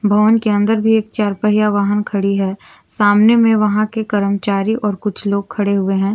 भवन के अंदर भी एक चार पहिया वाहन खड़ी है सामने में वहां के कर्मचारी और कुछ लोग खड़े हुए हैं।